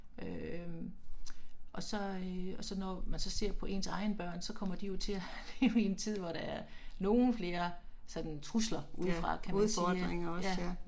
Øh ***nonverbal** og så øh og så når man så ser på ens egne børn så kommer de jo til at leve i en tid hvor der er nogen flere sådan trusler udefra kan man sige